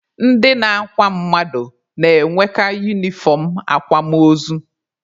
Ndị na-akwa mmadụ na-enweka unifọm akwamaozu.